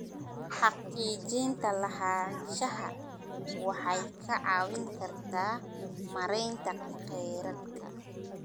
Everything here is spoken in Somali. Xaqiijinta lahaanshaha waxay kaa caawin kartaa maareynta kheyraadka.